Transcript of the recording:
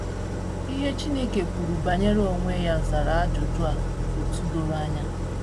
Ihe Chineke kwuru banyere onwe ya zara ajụjụ um a otú doro anya.